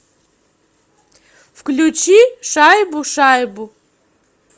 включи шайбу шайбу